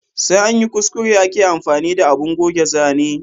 Sai anyi kuskure ake amfani da abun goge zane